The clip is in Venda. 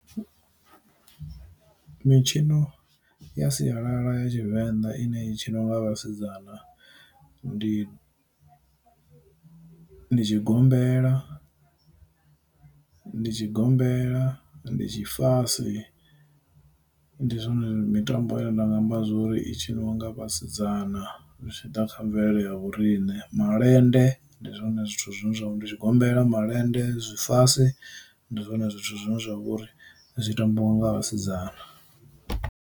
Mitshino ya sialala ya tshivenḓa ine i tshi no nga vhasidzana ndi tshigombela, ndi tshigombela, ndi tshi fase, ndi zwone mitambo ine nda nga amba zwori i tshiniwa nga vhasidzana zwi tshi ḓa kha mvelelo ya vhorine malende, ndi zwone zwithu zwine zwavha ndi tshigombela malende zwi fase, ndi zwone zwithu zwine zwa vha uri zwi tambiwa nga vhasidzana.